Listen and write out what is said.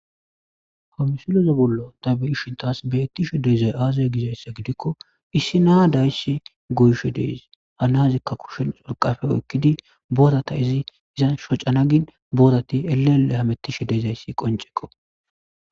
Ha misuloze bollo ta beyishintas beettishe deezay aaza gizayssa gidikko issi naa dayssi goyshe deesi hanazikka kushel xolqafe oykkidi boorata izi iza shocanagin boorati eleele hamettishe deezayssi qonceko.